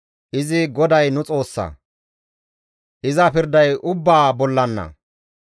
Izi GODAY nu Xoossa; iza pirday ubbaa bollanna.